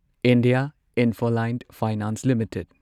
India Infoline Finance limited